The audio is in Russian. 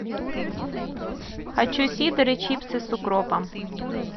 хочу сидр и чипсы с укропом